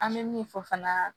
An bɛ min fɔ fana